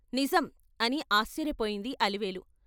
' నిజం ' అని ఆశ్చర్యపోయింది అలివేలు.